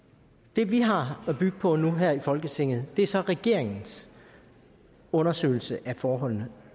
det vi har at bygge på nu her i folketinget er så regeringens undersøgelse af forholdene